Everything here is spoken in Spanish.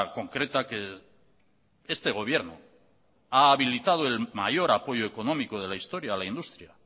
concreta que este gobierno ha habilitado el mayor apoyo económico de la historia a la industria